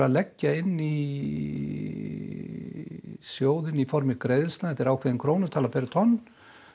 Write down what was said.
leggja inn í sjóðinn í formi greiðslna ákveðin krónutala per tonn